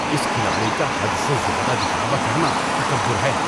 اس کھلاڑی کا حد سے زیادہ دکھاوا کرنا تکبر ہے۔